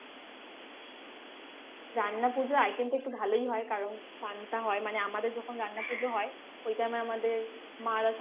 রান্না পুজো item টা একটু ভালোই হয় কারণ পান্তা হয় মানে আমাদের যখন রান্না পুজো হয় ওই time এ আমাদের মারা